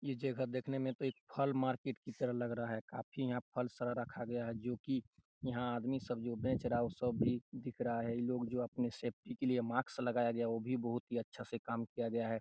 यह जगह देखने में तो फल मार्किट की तरह लग रहा है काफी यहाँ फल --सरा रखा गया है जो की यहाँ आदमी सब जो बेच रहा है वो सब भी दिख रहा है इन लोग जो अपने सेफ्टी के लिए मास्क लगया गया है वो भी बहुत ही अच्छा से काम किया गया है ।